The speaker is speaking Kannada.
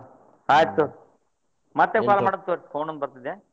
ಆಯ್ತ್ ಮತ್ತೆ call ಮಾಡ್ತೇನಿ ತೊಗೋರಿ phone ಬರ್ತದೆ.